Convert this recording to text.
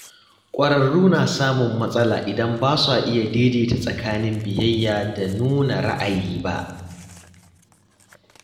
Ƙwararru na samun matsala idan ba su iya daidaita tsakanin biyayya da nuna ra’ayi ba.